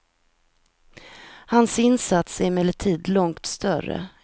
Hans insats är emellertid långt större än så.